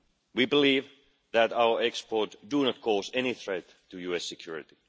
We believe that our exports do not cause any threat to US security.